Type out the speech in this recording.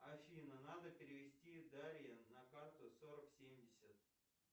афина надо перевести дарье на карту сорок семьдесят